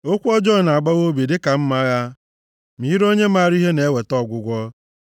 Okwu ọjọọ na-agbawa obi dịka mma agha, ma ire onye maara ihe na-eweta ọgwụgwọ.